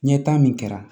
Ɲɛta min kɛra